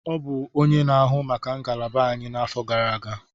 Ọ bụ onye na-ahụ maka ngalaba anyị n'afọ gara aga.